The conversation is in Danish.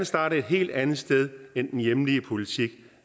starte et helt andet sted end den hjemlige politik